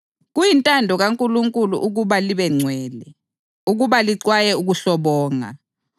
Kuyintando kaNkulunkulu ukuba libengcwele: ukuba lixwaye ukuhlobonga;